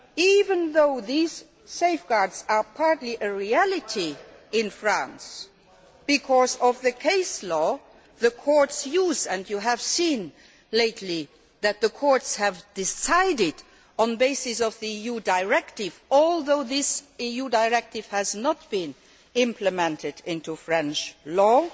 Even though these safeguards are partly a reality in France because of the case law which the courts use and you have seen lately that the courts have decided on the basis of the EU directive although this EU directive has not been implemented in French